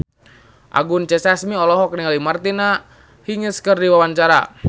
Anggun C. Sasmi olohok ningali Martina Hingis keur diwawancara